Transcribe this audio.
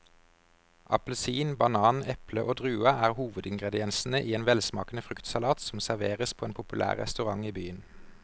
Appelsin, banan, eple og druer er hovedingredienser i en velsmakende fruktsalat som serveres på en populær restaurant i byen.